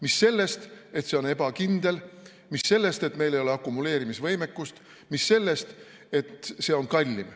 Mis sellest, et see on ebakindel, mis sellest, et meil ei ole akumuleerimise võimekust, mis sellest, et see on kallim.